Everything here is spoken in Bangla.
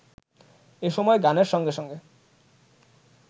এসময় গানের সঙ্গে সঙ্গে